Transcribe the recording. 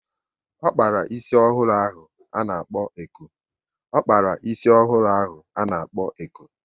O kpara ísì ọhụrụ ahụ a na-kpo eko